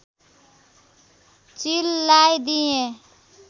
चिललाई दिएँ